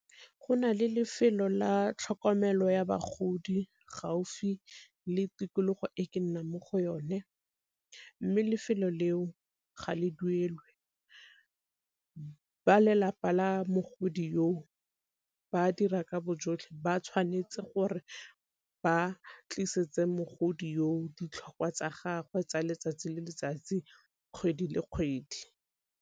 Go na le lefelo la tlhokomelo ya bagodi gaufi le tikologo e ke nnang mo go yone, mme lefelo leo ga le duelwe. Ba lelapa la mogodi ba dira ka bo jotlhe, ba tshwanetse gore ba tliseditse mogodu ditlhokwa tsa gagwe tsa letsatsi le letsatsi kgwedi le kgwedi.